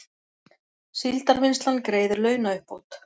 Síldarvinnslan greiðir launauppbót